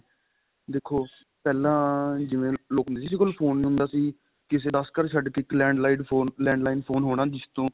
ਦੇਖੋ ਪਹਿਲਾਂ ਜਿਵੇਂ ਵੀ ਲੋਕ ਹੁੰਦੇ ਸੀ ਕਿਸੇ ਕੋਲ phone ਨਹੀਂ ਹੁੰਦਾ ਸੀ ਕਿਸੇ ਦੱਸ ਘਰ ਛੱਡ ਕੇ ਇੱਕ landline phone ਹੋਣਾ ਜਿਸ ਤੋਂ